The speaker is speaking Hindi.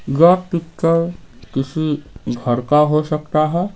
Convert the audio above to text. यह पिक्चर किसी घर काहो सकता है।